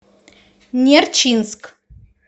нерчинск